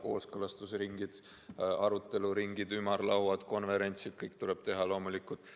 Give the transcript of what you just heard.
Kooskõlastusringid, aruteluringid, ümarlauad, konverentsid – kõike seda tuleb loomulikult teha.